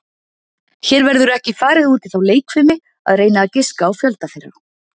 Hér verður ekki farið út í þá leikfimi að reyna að giska á fjölda þeirra.